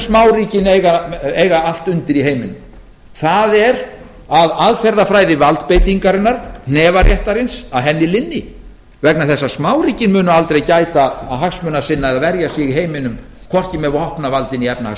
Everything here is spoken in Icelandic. smáríkin eiga allt undir í heiminum það er að aðferðafræði valdbeitingarinnar hnefaréttarins linni vegna þess að smáríkin munu aldrei gæta hagsmuna sinna eða verja sig í heiminum hvorki með vopnavaldi né efnahagsvaldi